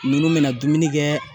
Nunnu be na dumuni kɛ